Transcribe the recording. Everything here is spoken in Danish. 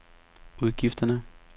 udgifterne